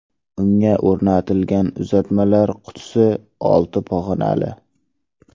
Unga o‘rnatilgan uzatmalar qutisi olti pog‘onali.